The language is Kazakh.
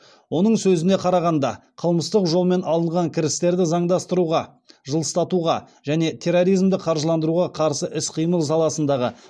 оның сөзіне қарағанда қылмыстық жолмен алынған кірістерді заңдастыруға жылыстатуға және терроризмді қаржыландыруға қарсы іс қимыл саласындағы